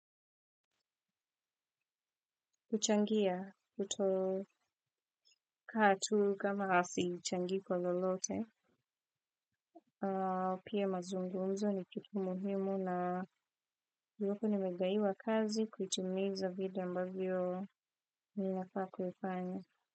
Kuchangia kuto kaa tu kama ha sichangii kwa lolote. Pia mazungumzo ni kitu muhimu na iwapo nimegawiwa kazi kuitimiza vile ambavyo ni nafaa kufanya.